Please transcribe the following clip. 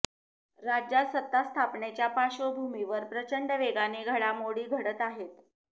राज्यात सत्ता स्थापनेच्या पार्श्वभूमीवर प्रचंड वेगाने घडामोडी घडत आहेत